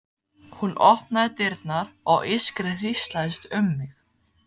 Hún opnaði dyrnar og ískrið hríslaðist um mig.